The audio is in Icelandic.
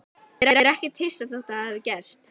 Ég er ekkert hissa þótt þetta hafi gerst.